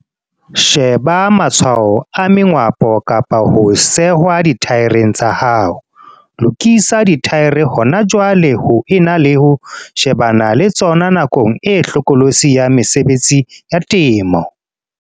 Sheba matshwao a mengwapo kapa ho sehwa dithaereng tsa hao. Lokisa dithaere hona jwale ho ena le ho shebana le tsona nakong e hlokolosi ya mesebetsi ya temo.